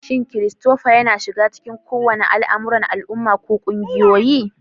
Shin Christopher yana shiga cikin kowane al'amuran al'umma ko ƙungiyoyi?